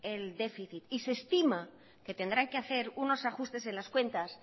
el déficit y se estima que tendrán que hacer unos ajustes en las cuentas